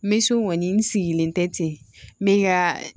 Mɛsɔn kɔni n sigilen tɛ ten n bɛ ka